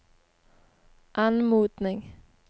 anmodning